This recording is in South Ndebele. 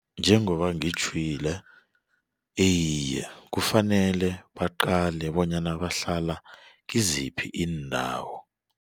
Njengoba ngitjhwile iye kufanele baqale bonyana bahlala kiziphi iindawo.